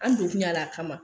An don kun y'a la a kama